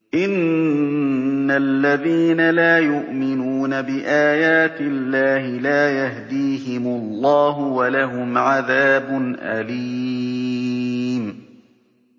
إِنَّ الَّذِينَ لَا يُؤْمِنُونَ بِآيَاتِ اللَّهِ لَا يَهْدِيهِمُ اللَّهُ وَلَهُمْ عَذَابٌ أَلِيمٌ